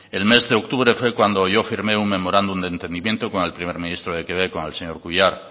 el mes de octubre fue cuando yo firme un memorándum de entendimiento con el primer ministro de quebec con el señor couillard